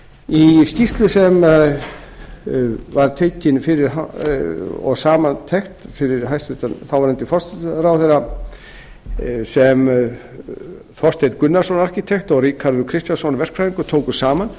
í skýrslu sem var tekin og samantekt fyrir hæstvirtur þáverandi forsætisráðherra sem þorsteinn gunnarsson arkitekt og ríkharður kristjánsson verkfræðingur tóku saman